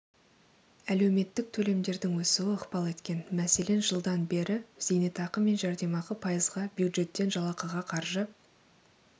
әлеуметтік төлемдердің өсуі ықпал еткен мәселен жылдан бері зейнетақы мен жәрдемақы пайызға бюджеттен жалақыға қаржы